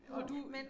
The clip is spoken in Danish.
Og du